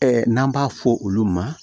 n'an b'a fɔ olu ma